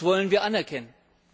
Das wollen wir anerkennen.